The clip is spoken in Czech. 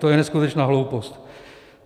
To je neskutečná hloupost.